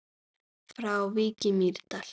Frá Vík í Mýrdal